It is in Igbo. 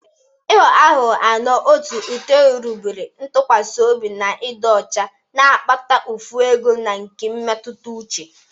Ịghọ aghụghọ (ano, otu, itoolu) rigburu ntụkwasị obi na ịdị ọcha, na-akpata mfu ego na nke mmetụta uche.